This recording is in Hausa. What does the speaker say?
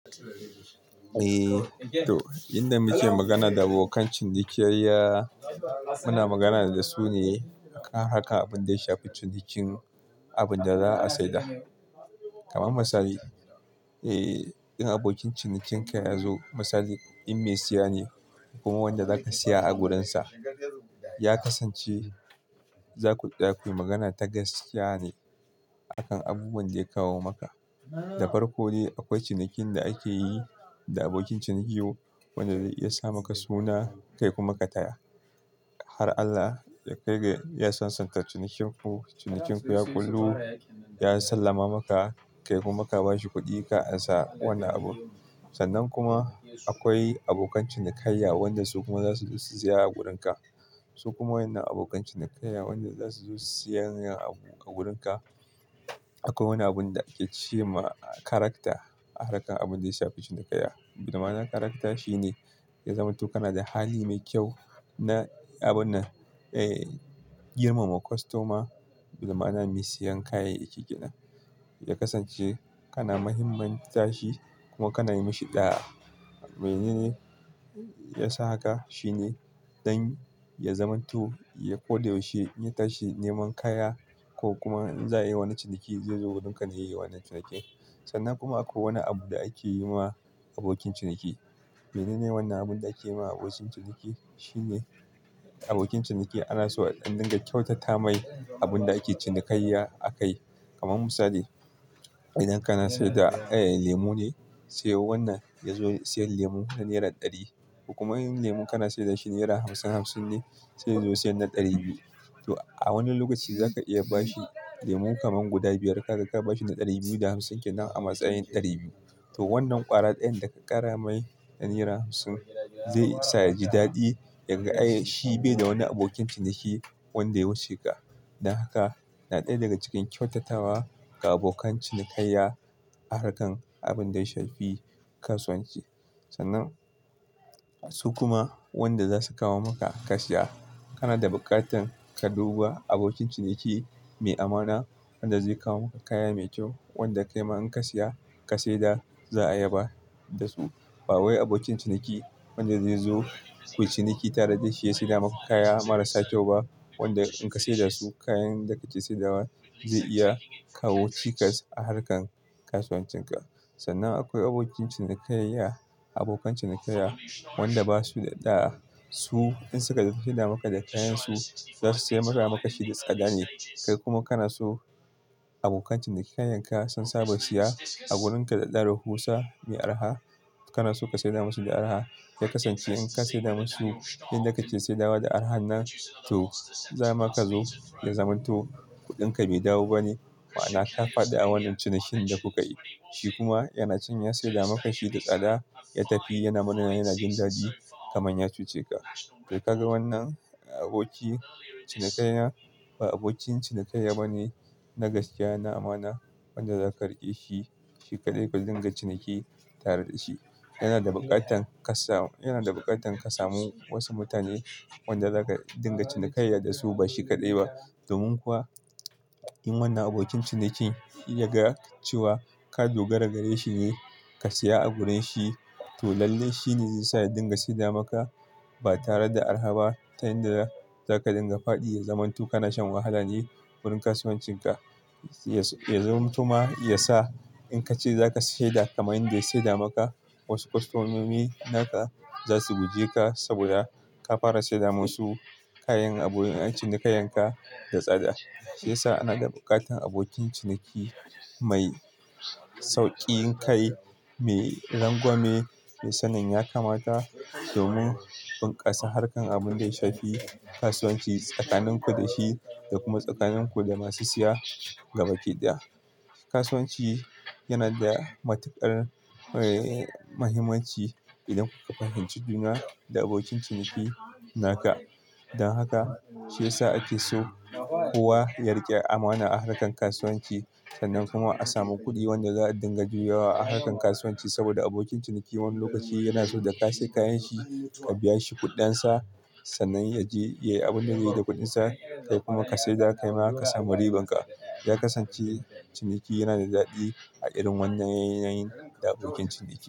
Eh to, in da muke magana da abokan cinikayya muna magana da su ne kan harkar abinda ya shafi cinikin abinda za a saida. Kaman misali, eh idan abokin cinikin ka ya zo, misali in mai saya ne ko kuma wanda zaka saya a gurinsa, ya kasance za ku tsaya kuyi magana ta gaskiya ne a kan abubuwan da ya kawo maka. Da farko dai akwai cinikin da ake yi da abokin ciniki wanda zai iya sa maka suna, kai kuma ka taya. Har Allah ya kai ga ya sansanta cinikin ku, cinikin ku ya ƙullu, ya sallama maka, kai kuma ka bashi kuɗi ka ansa wannan abun. Sannan kuma akwai abokan cinikayya wanda su kuma za su zo su saya a gurin ka. Su kuma waƴannan abokan cinikayyan wanda za su zo su sayan abu a gurin ka, akwai wani abunda ake ce ma karakter a harkar abinda ya shafi cinikayya. Ma'ana karakter shine ya zamanto kana da hali mai kyau na abun nan, eh girmama kostoma. Bi ma'ana mai sayan kayayyaki kenan. Ya kasance kana muhimman ta shi kuma kana yi mashi ɗa'a. Menene yasa haka? Shine dan ya zamanto ya, koda yaushe in ya tashi neman kaya ko kuma in za ayi wani ciniki, zai zo gurin ka ne yayi wannan cinikin. Sannan kuma akwai wani abu da ake yi ma abokin ciniki. Menene wannan abunda ake yi ma abokin ciniki? Shine abokin ciniki ana so a ɗan dinga kyautata mai abunda ake cinikayya a kai. Kaman misali, idan kana saida, eh lemu ne sai wannan ya zo sayan lemu na naira ɗari ko kuma in lemun kana saida shi naira hamsin hamsin ne, sai ya zo sayan na ɗari biyu. To a wani lokacin zaka iya ba shi lemu kaman guda biyar, kaga ka ba shi na ɗari biyu da hamsin kenan a matsayin ɗari biyu. To wannan ƙwara ɗayan da ka ƙara mai na naira hamsin zai sa ya ji daɗi yaga, eh shi bai da wani abokin ciniki wanda ya wuce ka. Dan haka, na ɗaya daga cikin kyautatawa ga abokan cinikayya a harkar abunda ya shafi kasuwanci. Sannan su kuma wanda za su kawo maka ka saya, kana da buƙatan ka duba abokin ciniki mai amana wanda zai kawo maka kaya mai kyau, wanda kaima in ka saya ka saida za a yaba da su. Ba wai abokin ciniki wanda zai zo ku yi ciniki tare da shi ya saida maka kaya marasa kyau ba, wanda in ka saida su kayan da kake saidawa zai iya kawo cikas a harkan kasuwancin ka. Sannan akwai abokin cinikayya, abokan cinikayya wanda ba su da ɗa'a. Su in suka saida maka da kayan su, za su saida maka maka shi da tsada ne. Kai kuma kana so abokan cinikayyanka sun saba saya a gurin ka da ɗaro. Hausa me arha, kana so ka saida musu me arha. Zai kasance in ka saida musu inda kake saidawa da arhan nan, to za ma ka zo ya zamanto kuɗin ka bai dawo ba ne. Ma'ana ka faɗi a wannan cinikin da kuka yi. Shi kuma yana can ya saida maka shi da tsada, ya tafi yana murna yana jin daɗi kaman ya cuce ka. To kaga wannan abokin cinikayya ba abokin cinikayya bane na gaskiya na amana wanda zaka riƙe shi, shi kaɗai ka dinga ciniki tare da shi. Yana da buƙatar kasa-- yana da buƙatar ka samu wasu mutane wanda zaka dinga cinikayya da su ba shi kaɗai ba. Domin kuwa in wannan abokin ciniki in ya ga cewa ka dogara gare shi ne ka saya a gurin shi, to lalle shine zai sa ya dinga saida maka ba tare da arha ba. Ta inda zaka dinga faɗi, ya zamanto kana shan wahala ne gurin kasuwancin ka. Ya zamanto ma yasa in ka ce zaka saida kamar yanda ya saida maka, wasu kostomomi naka za su guje ka sabida ka fara saida masu kayan abun cinikayyanka da tsada. Shi yasa ana da buƙatar abokin ciniki mai sauƙi kai, mai rangwame. Sanin yakamata domin bunƙasa harkar abunda ya shafi kasuwanci tsakanin ku da shi da kuma tsakanin ku da masu saya gaba ɗaya. Kasuwanci yana da matuƙar, eh mahimmanci idan kuka fahimci juna da abokin ciniki naka. Dan haka shi yasa ake so kowa ya riƙe amana a harkar kasuwanci sannan kuma a samu kuɗi wanda za a dinga juyawa a harkar kasuwanci. Sabida abokin ciniki wani lokaci yana so da ka sayi kayan shi ka biya shi kuɗin sa sannan ya je yayi abunda zai yi da kuɗin sa, kai kuma ka saida kaima ka samu riban ka. Ya kasance ciniki yana da daɗi a irin wannan yanayin da abokin ciniki.